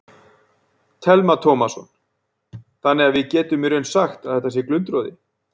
Telma Tómasson: Þannig að við getum í raun sagt að þetta sé glundroði?